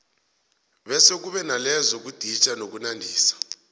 bese kube nalezo zokuditjha nokunandisa